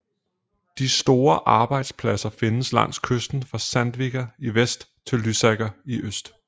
De store arbejdspladser findes langs kysten fra Sandvika i vest til Lysaker i øst